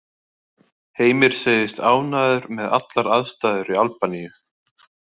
Heimir segist ánægður með allar aðstæður í Albaníu.